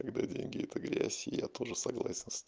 когда деньги это грязь и я тоже согласен с то